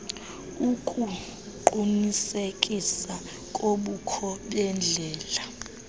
ukuqunisekisa kobukho bendlela